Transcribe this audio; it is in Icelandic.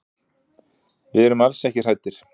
Við erum alls ekki hræddir.